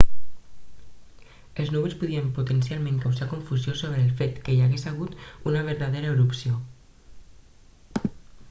els núvols podien potencialment causar confusió sobre el fet que hi hagués hagut una vertadera erupció